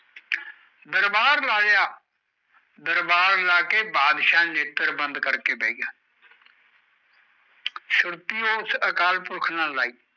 ਦਰਬਾਰ ਲਾਯਾ ਦਰਬਾਰ ਲਾਕੇ ਬੰਦਸ਼ ਨੇਤ੍ਰ ਬੰਦ ਕਰਕੇ ਬੈਗਯਾ ਸੂਰੀ ਉਸ ਅਕਾਲ ਪੁਰਖ ਨਾਲ ਲਈ